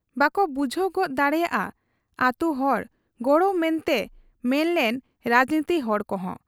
ᱵᱟᱠᱚ ᱵᱩᱡᱷᱟᱹᱣ ᱜᱚᱫ ᱫᱟᱲᱮᱭᱟᱫ ᱟ ᱟᱹᱛᱩ ᱦᱚᱲ ᱜᱚᱲᱚ ᱢᱮᱱᱛᱮ ᱢᱮᱱ ᱞᱮᱱ ᱨᱟᱡᱱᱤᱛᱤ ᱦᱚᱲ ᱠᱚᱦᱚᱸ ᱾